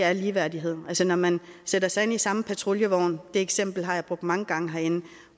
er ligeværdighed altså man sætter sig ind i samme patruljevogn det eksempel har jeg brugt mange gange herinde